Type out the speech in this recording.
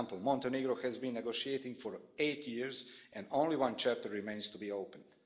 For example, Montenegro has been negotiating for eight years, and only one chapter remains to be opened.